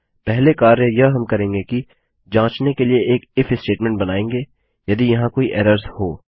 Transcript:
पहले कार्य यह हम करेंगे कि जाँचने के लिए एक इफ स्टेटमेंट बनायेंगे यदि यहाँ कोई एरर्स हों